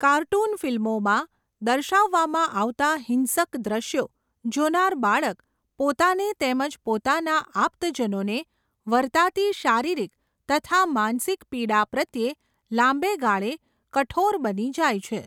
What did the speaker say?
Cartoon ફિલ્મોમાં, દર્શાવવામાં આવતાં હિંસક દ્રશ્યો, જોનાર બાળક, પોતાને તેમજ પોતાનાં આપ્તજનોને, વરતાતી શારીરિક, તથા માનસિક પીડા પ્રત્યે લાંબે ગાળે કઠોર બની જાય છે.